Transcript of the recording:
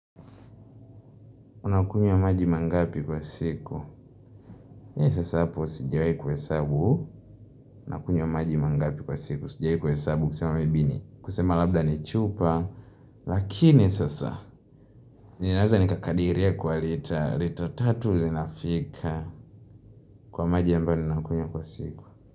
Unakunywa majima ngapi kwa siku hii sasa hapo sijiwahi kuhesabu unakunywa majima mangapi kwa siku sijiwahi kuhe sabu kusema maybe ni kusema labda ni chupa lakini sasa ninaweza ni kakadiria kwa lita lita tatu zinafika kwa majima ambayo ninakunywa kwa siku.